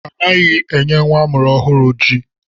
Anaghị enye nwa amụrụ ọhụrụ ji.